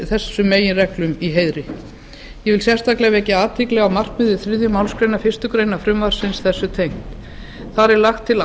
þessar meginreglur í heiðri ég vek sérstaklega athygli á markmiði þriðju málsgrein fyrstu grein frumvarpsins sem er þessu tengt þar er lagt til